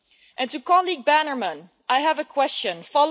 I have a question for my colleague, Mr Campbell Bannerman.